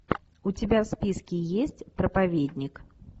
у тебя в списке есть проповедник